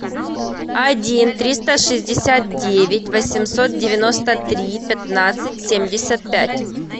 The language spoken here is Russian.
один триста шестьдесят девять восемьсот девяносто три пятнадцать семьдесят пять